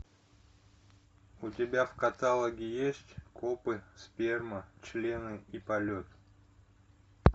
у тебя в каталоге есть копы сперма члены и полет